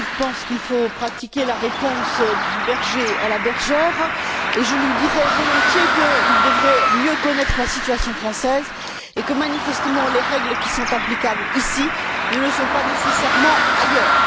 Eppink pense qu'il faut pratiquer la réponse du berger à la bergère, et je lui dirais volontiers qu'il devrait mieux connaître la situation française et que, manifestement, les règles qui sont applicables ici ne le sont pas nécessairement ailleurs.